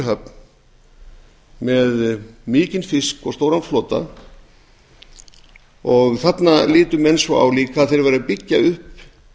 höfn með mikinn fisk og stóran flota þarna litu menn líka svo á að þeir væru að byggja upp